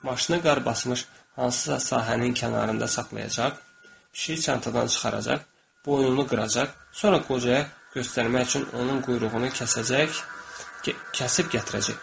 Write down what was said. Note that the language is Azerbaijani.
Maşına qar basmış hansısa sahənin kənarında saxlayacaq, pişiyi çantadan çıxaracaq, boynunu qıracaq, sonra qocaya göstərmək üçün onun quyruğunu kəsəcək, kəsib gətirəcək.